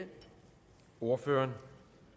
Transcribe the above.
ordføreren